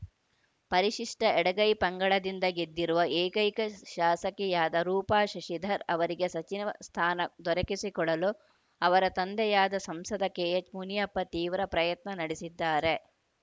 ಪರಿಶಿಷ್ಟಎಡಗೈ ಪಂಗಡದಿಂದ ಗೆದ್ದಿರುವ ಏಕೈಕ ಶಾಸಕಿಯಾದ ರೂಪಾ ಶಶಿಧರ್‌ ಅವರಿಗೆ ಸಚಿವ ಸ್ಥಾನ ದೊರಕಿಸಿಕೊಡಲು ಅವರ ತಂದೆಯಾದ ಸಂಸದ ಕೆಎಚ್‌ಮುನಿಯಪ್ಪ ತೀವ್ರ ಪ್ರಯತ್ನ ನಡೆಸಿದ್ದಾರೆ